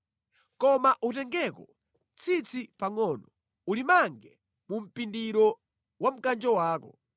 Koma utengeko tsitsi pangʼono, ulimange mu mpindiro wa mkanjo wako.